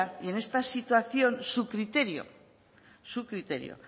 y en esta situación su criterio su criterio